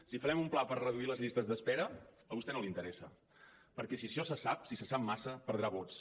si farem un pla per reduir les llistes d’espera a vostè no li interessa perquè si això se sap si se sap massa perdrà vots